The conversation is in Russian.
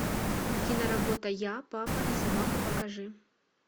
киноработа я папа и собака покажи